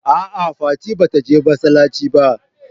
a'a fati bata je masallaci ba